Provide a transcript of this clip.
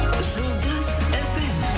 жұлдыз фм